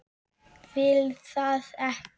Vil það ekki.